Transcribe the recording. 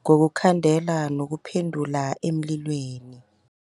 ngokukhandela nokuphendula emlilweni.